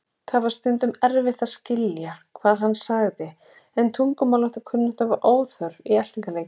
Það var stundum erfitt að skilja hvað hann sagði en tungumálakunnátta var óþörf í eltingarleikjum.